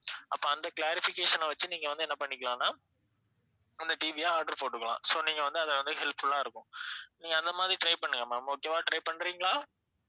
அப்ப அந்த clarification வெச்சி நீங்க வந்து என்ன பண்ணிக்கலாம்னா அந்த TV ய order போட்டுக்கலாம் so நீங்க வந்து அத வந்து helpful ஆ இருக்கும் நீங்க அந்த மாதிரி try பண்ணுங்க ma'am okay வா try பண்றீங்களா?